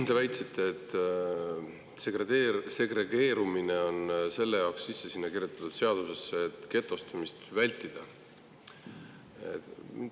Te väitsite, et segregeerumine on selle jaoks kirjutatud sinna seadusesse, et getostumist vältida.